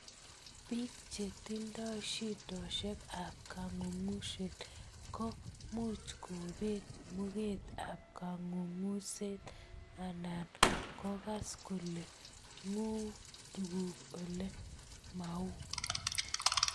Pik che tindoi shidoshek ap kangungset ko much kopet muget ap kangungset anan kogas kolee nguu tuguk ole mauu.